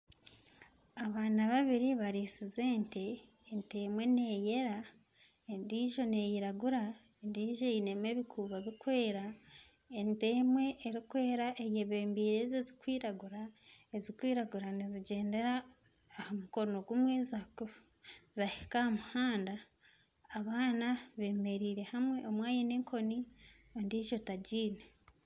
Abaana babiri bariitsize ente. Ente emwe neeyera endiijo neiragura . Endiijo einemu ebikuubo birikwera. Ente emwe erikwera eyebembeire ezi ezirikwiragura, ezirikwiragura nizigyendera aha mukono gumwe zaakufa, zaahika aha muhanda. Abaana bemereire hamwe omwe aine enkoni ondiijo tagiine.